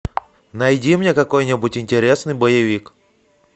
найди мне какой нибудь интересный боевик